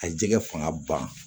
A jɛgɛ fanga ban